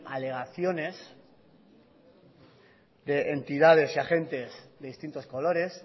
alegaciones de entidades y agentes de distintos colores